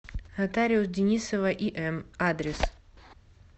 нотариус денисова им адрес